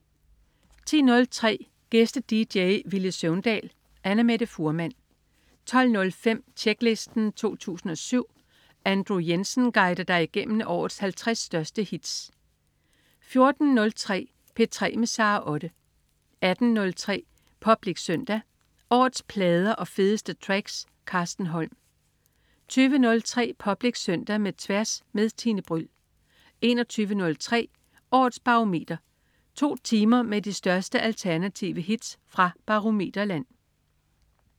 10.03 Gæste-dj: Villy Søvndal. Annamette Fuhrmann 12.05 Tjeklisten 2007. Andrew Jensen guider dig igennem årets 50 største hits 14.03 P3 med Sara Otte 18.03 Public Søndag. Årets plader og fedeste tracks. Carsten Holm 20.03 Public Søndag med Tværs med Tine Bryld 21.03 Årets Barometer. To timer med de største alternative hits fra Barometer-land